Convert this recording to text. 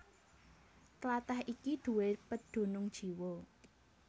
Tlatah iki duwé pedunung jiwa